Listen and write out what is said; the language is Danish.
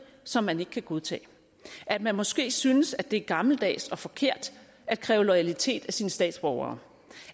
som man ikke kan godtage at man måske synes at det er gammeldags og forkert at kræve loyalitet af sine statsborgere